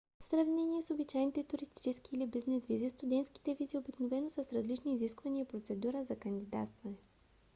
в сравнение с обичайните туристически или бизнес визи студентските визи обикновено са с различни изисквания и процедури за кандидатстване